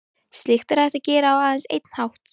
Slíkt er hægt að gera á aðeins einn hátt.